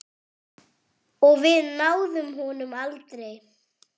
Og við náðum honum aldrei.